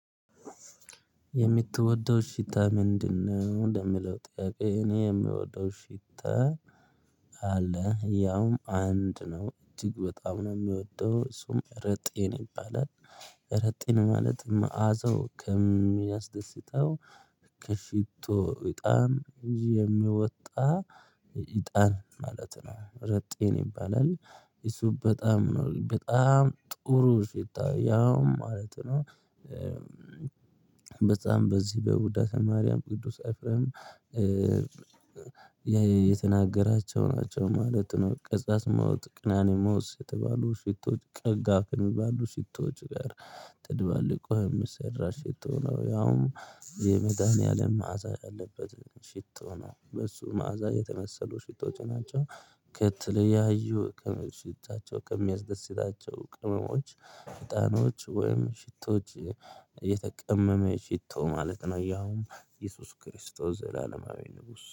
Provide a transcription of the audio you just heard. የምትወደው ሽታ ምንድነው? ለሚለው ጥያቄ እኔ የምወደው ሽታ አለ ያውም አንድ ነው እጅግ በጣም ነው የሚወደው እሱም እረጢን ይባላል። እረጢን ማለት መአዘው ከሚያስደስተው ከሽቶ እጣን የሚወጣ እጣን ማለት ነው ረጢን ይባላል። እሱ በጣም ነው በጣም ጥሩ ሽታ ያውም ማለት ነው። በጣም በዚህ በቡዳተ ማርያም ቅዱስ ኤፍሬም የተናገራቸው ናቸው ማለት ነው። ቀጻስሞት ቀናኒሞስ የተባሉ ሽቶች ቀጋፍ የሚባሉ ሽቶዎች ጋር ትደባልቆ የሚሰራ ሽቶ ነው። ያውም የመዳሀኒያለም መዓዛ ያለበት ሽቶ ነው። በሱ መዓዛ የተመሰሉ ሽቶች ናቸው። ከተለያዩ ከሽታቸው ከሚያስደስታቸው ቅመሞች ህጣኖች ወይም ሽቶዎች የተቀመመ ሽቶ ማለት ነው። ያዉም ኢየሱስ ክርስቶስ ዘላለማዊ ንጉስ